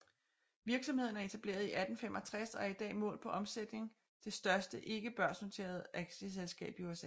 Virksomheden er etableret i 1865 og er i dag målt på omsætning det største ikke børsnoterede aktieselskab i USA